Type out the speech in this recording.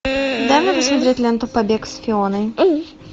дай мне посмотреть ленту побег с фионой